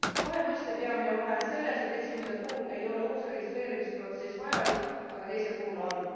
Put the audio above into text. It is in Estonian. Kahe mõiste peamine vahe on selles, et esimese puhul ei ole uus registreerimiseprotsess vajalik, aga teise puhul on.